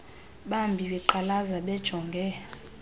bambi beqalaza bejonge